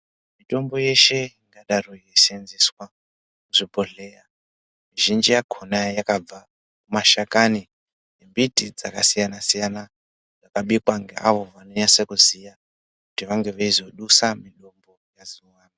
Mitombo yeshe ingadaro yeiseenzeswa kuzvibhodhleya, mizhinji yakhona yakabva mashakani embiti dzakasiyana-siyana, dzakabikwa ngeavo vanonyase kuziya, kuti vange veizodusa mudumbu mwezuwa.